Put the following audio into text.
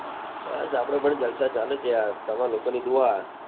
બસ આપડે પણ જલસા છે. યાર તમાર લોકો ની દુઆ.